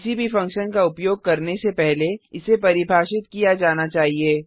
किसी भी फंक्शन का उपयोग करने से पहले इसे परिभाषित किया जाना चाहिए